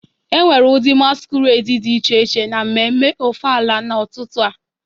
Enwere ụdị masquerade dị iche iche na mmemme ofala n'ụtụtụ a